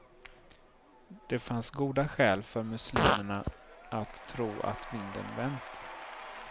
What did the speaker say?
Det fanns goda skäl för muslimerna att tro att vinden vänt.